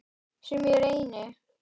Sem ég reyni.